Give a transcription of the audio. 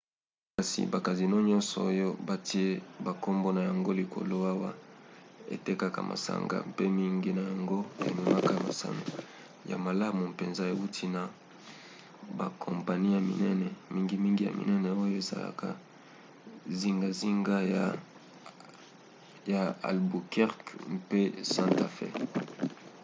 kasi bacasino nyonso oyo batie bankombo na yango likolo awa etekaka masanga mpe mingi na yango ememaka masano ya malamu mpenza euti na bakompani ya minene mingimingi ya minene oyo ezalaka zingazinga ya albuquerque mpe santa fe